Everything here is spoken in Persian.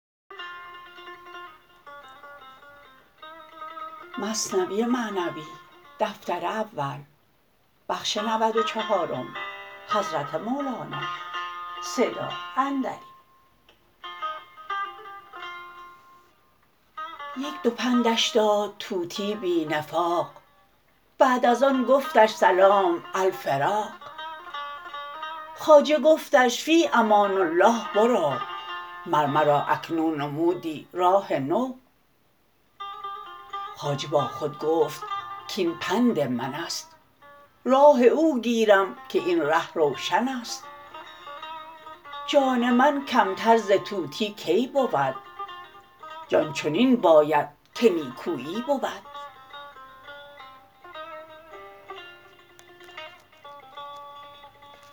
یک دو پندش داد طوطی بی نفاق بعد از آن گفتش سلام الفراق خواجه گفتش فی امان الله برو مر مرا اکنون نمودی راه نو خواجه با خود گفت کاین پند منست راه او گیرم که این ره روشنست جان من کمتر ز طوطی کی بود جان چنین باید که نیکوپی بود